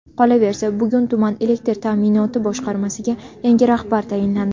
Qolaversa, bugun tuman elektr ta’minoti boshqarmasiga yangi rahbar tayinlandi.